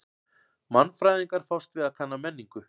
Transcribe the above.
Mannfræðingar fást við kanna menningu.